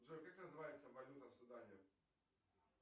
джой как называется валюта в судане